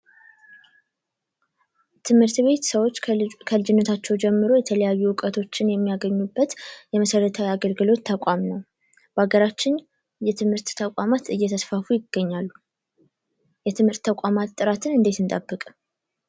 ትምህርት ቤት ሰዎች ከልጅነታቸው ጀምሮ የተለያዩ እውቀቶችን የሚያገኙበት የመሰረታዊ የአገልግሎት ተቋም ነው ።በሀገራችን የትምህርት ተቋማት እየተስፋፉ ይገኛሉ። የትምህርት ተቋማት ጥራትን እንዴት እንጠብቅ?